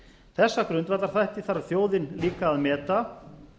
þessa grundvallarþætti þarf þjóðin líka að meta